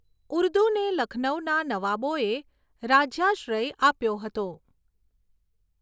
ઉર્દુને લખનઉના નવાબોએ રાજ્યાશ્રય આપ્યો હતો.